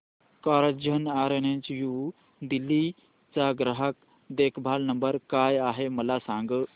Carzonrent new Delhi चा ग्राहक देखभाल नंबर काय आहे मला सांग